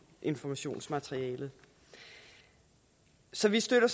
informationsmaterialet så vi støtter